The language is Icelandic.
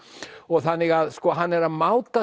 þannig að hann er að máta